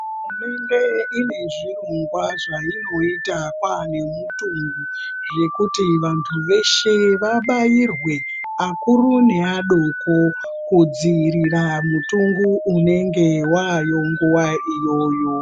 Hurumende ine zvirongwa zvaino ita pane mutongo zvekuti vantu veshe vabairwe akuru ne adoko ku dzivirira mutongo unenge wayo nguva iyoyo.